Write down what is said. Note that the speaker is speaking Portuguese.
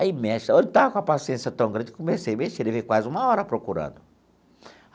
Aí mexe, eu não estava com a paciência tão grande, comecei a mexer, eu levei quase uma hora procurando.